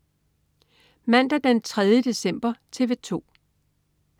Mandag den 3. december - TV 2: